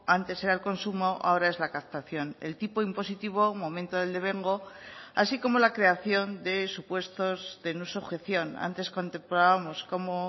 antes era el consumo ahora es la captación el tipo impositivo momento del devengo así como la creación de supuestos de no sujeción antes contemplábamos como